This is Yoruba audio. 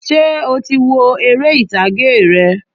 Sé o ti wo eré ìtàgé rẹ̀?